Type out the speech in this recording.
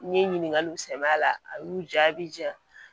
N ye ɲininkaliw sɛnbɛ a la a y'u jaa a bɛ jaa